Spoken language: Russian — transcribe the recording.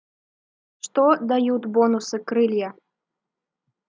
что дают бонусы крылья